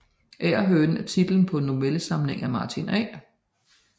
Agerhønen er titlen på en novellesamling af Martin A